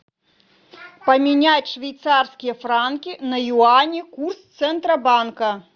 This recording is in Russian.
поменять швейцарские франки на юани курс центробанка